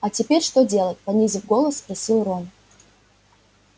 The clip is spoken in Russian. а теперь что делать понизив голос спросил рон